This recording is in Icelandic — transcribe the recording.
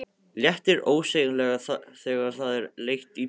Léttir ósegjanlega þegar það er leitt í burtu.